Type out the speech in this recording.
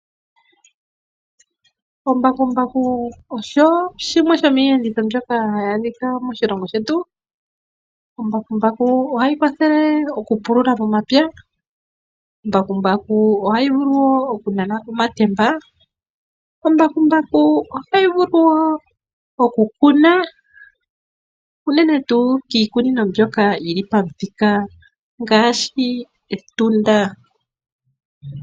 Ombakumbaku osho shimwe shomiiyenditho mbyoka hayi adhika moshilongo shetu, Ombakumbaku ohayi kwathele okupulula momapaya, ombakumbaku ohayi vulu wo okunana omatemba, ombakumbaku ohayi vulu wo okukuna, uunene tuu kiikunino mbyoka yili pamuthika ngaashi Etunda.